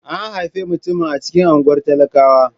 An haifi mutumin a cikin unguwar talakawa.